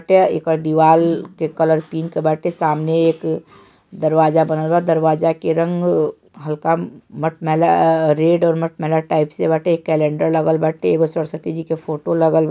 येकर दिवाल के कलर पिंक बाटे सामने एक दरवाजा बनल बा दरवाजा के रंग हल्का मटमैला अ-रेड और मटमैला टाइप बाटे एक कलेंडर बाटे एगो सरस्वती जी के फोटो लागल --